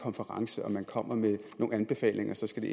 konference hvor man kommer med nogle anbefalinger så skal det